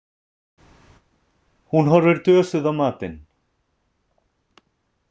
Hún horfir dösuð á matinn.